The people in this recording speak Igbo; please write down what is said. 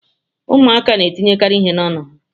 Ụmụaka na etinyekarị ihe n'ọnụ ha.